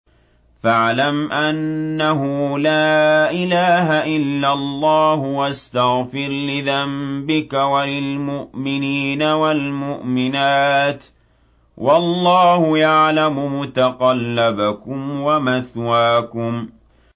فَاعْلَمْ أَنَّهُ لَا إِلَٰهَ إِلَّا اللَّهُ وَاسْتَغْفِرْ لِذَنبِكَ وَلِلْمُؤْمِنِينَ وَالْمُؤْمِنَاتِ ۗ وَاللَّهُ يَعْلَمُ مُتَقَلَّبَكُمْ وَمَثْوَاكُمْ